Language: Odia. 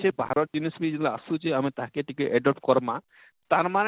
ସେ ବାହାରର ଜିନିଷ ବି ଯେତେବେଳେ ଆସୁଛେ ଆମେ ତାହାକେ ଟିକେ adobe କରମା ତାର ମାନେ